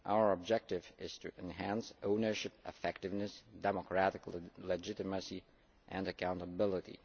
Our objective is to enhance ownership, effectiveness, democratic legitimacy and accountability.